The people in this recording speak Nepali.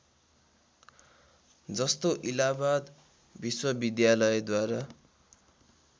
जस्तो इलाहाबाद विश्वविद्यालयद्वारा